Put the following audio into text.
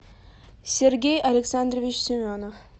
сергей александрович семенов